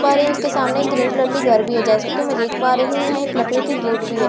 पा रही हूं उसके सामने ग्रीन कलर के घर भी है जैसे कि मैं देख पा रही हूं यहां एक लकड़ी की गेट भी है जैसे कि --